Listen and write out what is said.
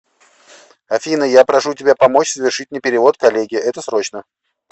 афина я прошу тебя помочь совершить мне перевод коллеге это срочно